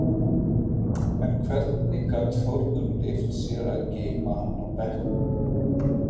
En hvernig gat Þórður leyft sér að geyma hann á bekknum?